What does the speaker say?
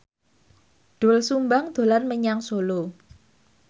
Doel Sumbang dolan menyang Solo